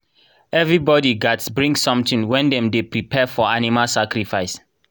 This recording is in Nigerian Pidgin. everybody gats bring something when dem dey prepare for animal sacrifice.